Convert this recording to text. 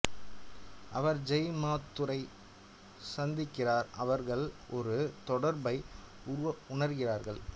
அவர் ஜெய் மாத்தூரை சந்திக்கிறார் அவர்கள் ஒரு தொடர்பை உணர்கிறார்கள்